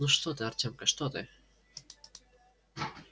ну что ты артемка что ты